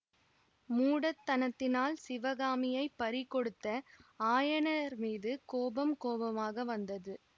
மூடத்தனத்தினால் சிவகாமியைப் பறி கொடுத்த ஆயனர்மீது கோபம் கோபமாக வந்தது